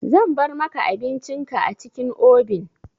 Zan bar maka abincin ka a cikin obin.